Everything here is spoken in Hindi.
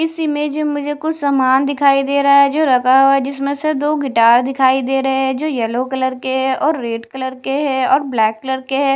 इस इमेज में मुझे कुछ सामान दिखाई दे रहा है जो रखा हुआ है जिसमें से दो गिटार दिखाई दे रहे हैं जो येलो कलर के हैं और रेड कलर के हैं और ब्लैक कलर के है।